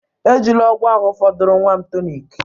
Ejila ọgwụ ahụ fọdụụrụ nwa m tonic